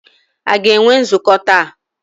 A ga-enwe nzukọ taa?